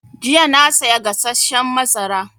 Jiya na saya gasasshen mazara